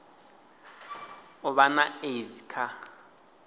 u vha na aids vha